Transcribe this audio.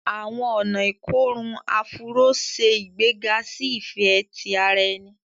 Àwọn ọna ikorun Afuro se igbega si ifẹ ti ara ẹni